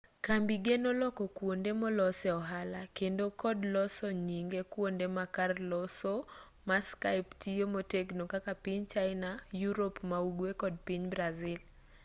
kambi geno loko kuonde molosee ohala kendo kod loso nyinge kuonde ma karloso ma skype tiyo motegno kaka piny china yurop ma-ugwe kod piny brazil